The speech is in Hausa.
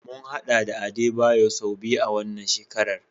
Mun hadu da Adebayo sau biyu a wannan shekarar.